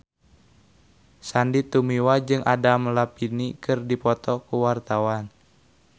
Sandy Tumiwa jeung Adam Levine keur dipoto ku wartawan